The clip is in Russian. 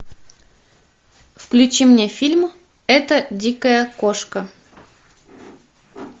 включи мне фильм эта дикая кошка